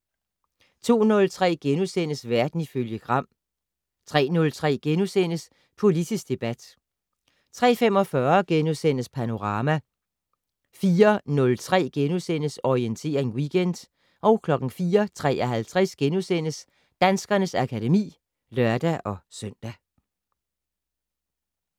02:03: Verden ifølge Gram * 03:03: Politisk debat * 03:45: Panorama * 04:03: Orientering Weekend * 04:53: Danskernes akademi *(lør-søn)